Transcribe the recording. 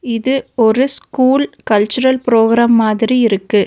இது ஒரு school cultural programme மாதிரி இருக்கு.